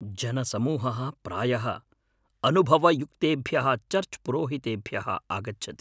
जनसमूहः प्रायः अनुभवयुक्तेभ्यः चर्च् पुरोहितेभ्यः आगच्छति।